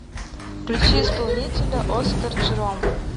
включи исполнителя оскар джером